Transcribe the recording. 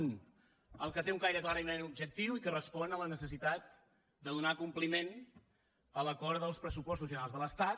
un el que té un caire clarament objectiu i que respon a la necessitat de donar compliment a l’acord dels pressupostos generals de l’estat